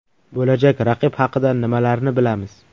Bo‘lajak raqib haqida nimalarni bilamiz?